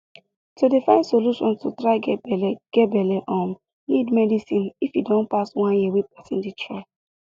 to dey find solution to try get belle get belle um need medicine if e don pass one year wey person dey try